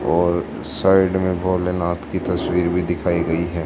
और साइड में भोलेनाथ की तस्वीर भी दिखाई गई है।